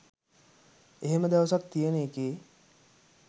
එහෙම දවසක් තියෙන එකේ